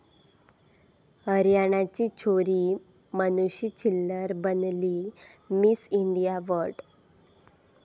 हरियाणाची छोरी मानुषी छिल्लर बनली 'Miss India world'